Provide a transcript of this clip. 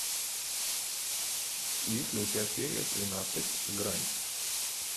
есть ли у тебя серия тринадцать грань